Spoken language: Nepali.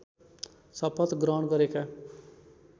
शपथ ग्रहण गरेका